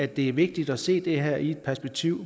det er vigtigt at se det her i det perspektiv